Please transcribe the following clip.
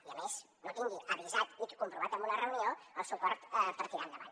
i a més no tingui avisat i comprovat en una reunió el suport per tirar endavant